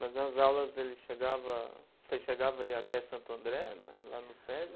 Mas nas aulas ele chegava, você chegava a ir até Santo André, na lá no Sesi?